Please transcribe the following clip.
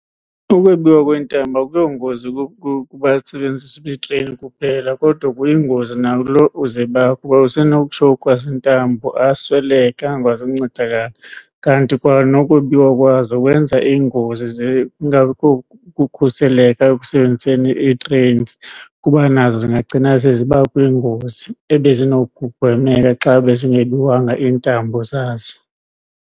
Ukwebiwa kweentambo akuyongozi kubasebenzisi betreyini kuphela kodwa kuyingozi nakuloo uzebayo kuba usenowutshowukhwa zintambo asweleke angakwazi ukuncedakala. Kanti kwanokwebiwa kwazo kwenza iingozi kungabikho kukhuseleka ekusebenziseni ii-trains kuba nazo zingagcina seziba kwiingozi ebezinokugwemeka xa bezingebiwanga iintambo zazo.